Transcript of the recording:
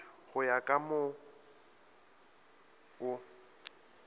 go ya ka mo o